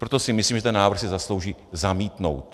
Proto si myslím, že ten návrh si zaslouží zamítnout.